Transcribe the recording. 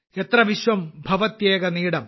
എത്ര വിശ്വം ഭവത്യേക നീടം